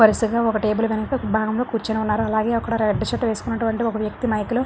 వరుసగా ఒక టేబుల్ వెనక భాగం లో కూర్చుని ఉన్నారు. అలాగే అక్కడ రెడ్ షర్ట్ వేసుకున్నటువంటి ఒక వ్యక్తి మైక్ లో--